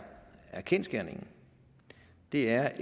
kendsgerningen er